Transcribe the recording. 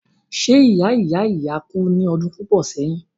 ṣé ìya ìya ìya kú ní ọdún púpọ̀ sẹ́yìn?